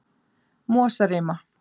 Mosarima